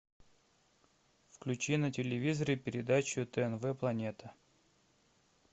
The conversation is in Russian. включи на телевизоре передачу тнв планета